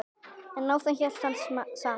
En áfram hélt hann samt.